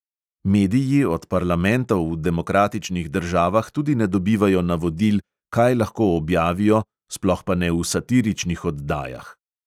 Mediji od parlamentov v demokratičnih državah tudi ne dobivajo navodil, kaj lahko objavijo, sploh pa ne v satiričnih oddajah.